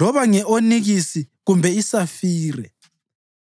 loba nge-onikisi kumbe isafire.